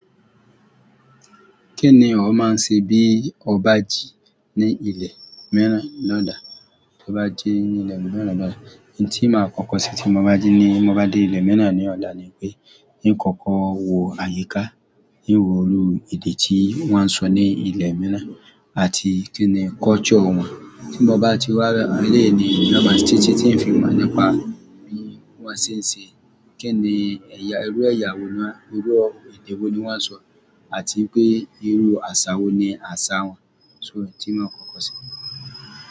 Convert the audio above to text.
Kí ni ó máa ń ṣe bí ó bá jí ní ilẹ̀ mìíràn lọ́là? Bí mo bá jí ní ilẹ̀ mìíràn lọ́dà, ohun tí màá kọ́kọ́ ṣe tí mo bá jí ní mo bá dé ilẹ̀ mìíràn ní ọ̀la ni pé, in ìkọ̀kọ̀ wo àyíká, ín wo irú èdè tí wọ́n ń sọ ní ilẹ̀ mìíràn, àti kí ni culture wọn. Tí mo bá ti wá léèní lọ́wọ́, ṣé tí tí ń fi mọ̀ nípa bí wọ́n ṣe ń ṣe, kí ni ẹ̀ya, irú ẹ̀yà wo ní wọ́n, irú èdè wo ni wọ́n ń sọ, àti pé irú àṣà wo ni àṣà wọn. So tí màá kọ́kọ́ ṣe.